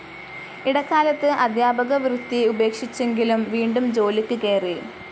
ഇടക്കാലത്ത് അധ്യാപകവൃത്തി ഉപേക്ഷിച്ചെങ്കിലും, വീണ്ടും ജോലിക്ക് കേറി.